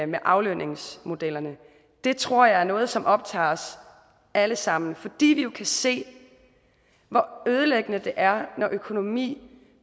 med aflønningsmodellerne det tror jeg er noget som optager os alle sammen fordi vi jo kan se hvor ødelæggende det er når økonomi